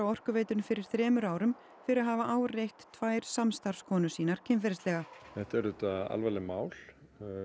Orkuveitunni fyrir þremur árum fyrir að hafa áreitt tvær samstarfskonur sínar kynferðislega þetta eru auðvitað alvarleg mál